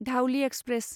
Dhauli express